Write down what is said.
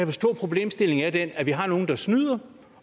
forstå at problemstillingen er den at vi har nogle der snyder